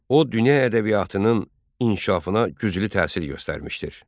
O dünya ədəbiyyatının inkişafına güclü təsir göstərmişdir.